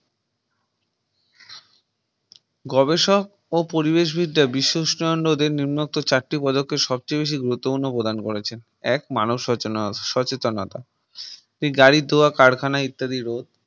গবেষক ও পরিবেশ বিদ্যার বিশ্ব উষ্ণায়নের নির্মিত চারটি পদক্ষে সবচেয়ে বেশি গুরুত্বপূর্ণ প্রদান করেছেন এক মানুষ সচেতনসচেতনতা এই গাড়ি ধোয়া কারখানায় ইত্যাদির